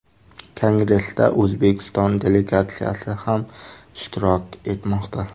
Kongressda O‘zbekiston delegatsiyasi ham ishtirok etmoqda.